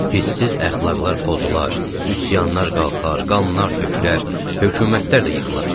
Bissiz əxlaqlar pozular, üsyanlar qalxar, qanlar tökülər, hökumətlər də yıxılar.